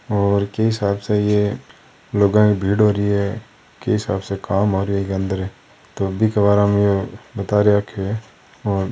और के हिसाब से ये लुगाई भीड़ हो री है के हिसाब से काम हो रेहो है अंदर तो बीके बारा मे बताय रखे है और --